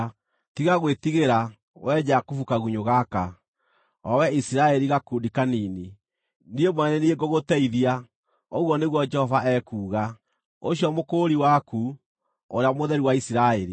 Tiga gwĩtigĩra, wee Jakubu kagunyũ gaka, o wee Isiraeli gakundi kanini, niĩ mwene nĩ niĩ ngũgũteithia,” ũguo nĩguo Jehova ekuuga, ũcio Mũkũũri waku, Ũrĩa Mũtheru wa Isiraeli.